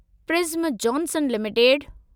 prism Johnson limited